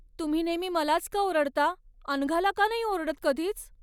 तुम्ही नेहमी मलाच का ओरडता, अनघाला का नाही ओरडत कधीच?